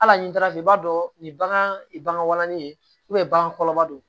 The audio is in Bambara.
Hali ni taara fɛ i b'a dɔn ni bagan walanni ye bagan kɔlɔlɔ don